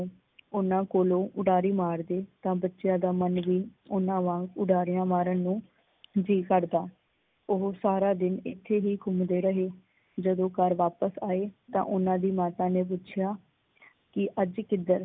ਓਹਨਾਂ ਕੋਲੋਂ ਉਡਾਰੀ ਮਾਰਦੇ ਤਾਂ ਬੱਚਿਆ ਦਾ ਮੰਨ ਵੀ ਓਹਨਾਂ ਵਾਂਗ ਉਡਾਰੀਆਂ ਮਾਰਨ ਨੂੰ ਜੀ ਕਰਦਾ। ਓਹ ਸਾਰਾ ਦਿਨ ਇੱਥੇ ਹੀ ਘੁਮੰਦੇ ਰਹੇ ਜਦੋਂ ਘਰ ਵਾਪਿਸ ਆਏ ਤਾਂ ਓਹਨਾਂ ਦੀ ਮਾਤਾ ਨੇ ਪੁੱਛਿਆ, ਕੀ ਅੱਜ ਕਿੱਦਰ?